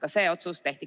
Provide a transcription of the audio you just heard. Aitäh!